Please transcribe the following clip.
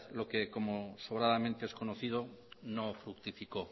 lo que como sobradamente es conocido no fructificó